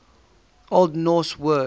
old norse word